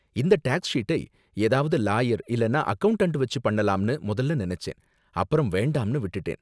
இந்த டேக்ஸ் ஷீட்டை ஏதாவது லாயர் இல்லனா அக்கவுண்டன்ட் வெச்சி பண்ணலாம்னு முதல்ல நினைச்சேன் அப்பறம் வேண்டாம்ன்னு விட்டுட்டேன்.